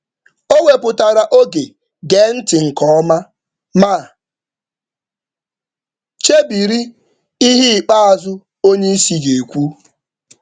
Ọ wepụtara oge iji gee ntị nke ọma ma chere okwu ikpeazụ oga.